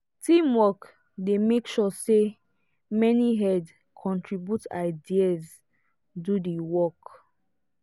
teamwork dey make sure say many head contribute ideas do the work.